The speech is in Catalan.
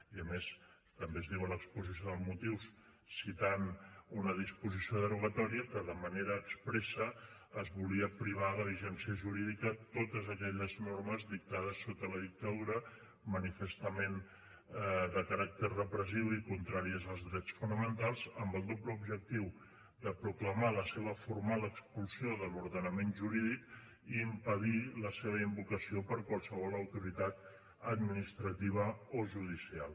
i a més també es diu a l’exposició de motius citant una disposició derogatòria que de manera expressa es volia privar de vigència jurídica totes aquelles normes dictades sota la dictadura manifestament de caràcter repressiu i contràries als drets fonamentals amb el doble objectiu de proclamar la seva formal expulsió de l’ordenament jurídic i impedir la seva invocació per qualsevol autoritat administrativa o judicial